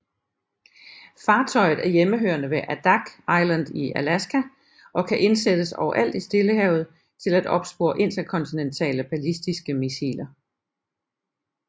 Fartøjet er hjemmehørende ved Adak Island i Alaska og kan indsættes overalt i Stillehavet til at opspore interkontinentale ballistiske missiler